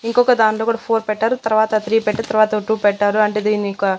ఇంకొక దానిలో కూడా ఫోర్ పెట్టారు తర్వాత త్రీ పెట్టా తర్వాత టు పెట్టారు అంటే దీనిక--